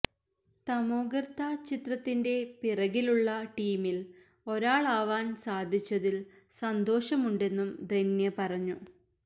തമോഗര്ത്ത ചിത്രത്തിന്റെ പിറകിലുള്ള ടീമില് ഒരാളാവാന് സാധിച്ചതില് സന്തോഷമുണ്ടെന്നും ധന്യ പറഞ്ഞു